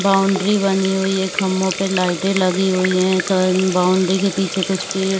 boundary बनी हुई है खम्भों पे लाइटें लगी हुई हैं कन बाउंड्री के पीछे कुछ पेड़ --